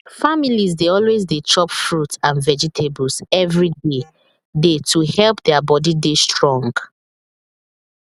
families dey always dey chop fruit and vegetables every day day to help their body dey strong